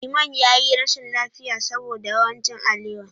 Iman ya yi rashin lafiya saboda yawan cin alewa.